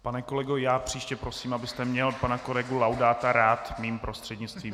Pane kolego, já příště prosím, abyste měl pana kolegu Laudáta rád mým prostřednictvím.